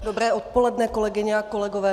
Dobré odpoledne, kolegyně a kolegové.